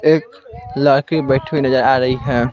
एक लड़की बैठी हुई नजर आ रही है।